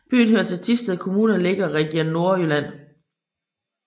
Byen hører til Thisted Kommune og ligger i Region Nordjylland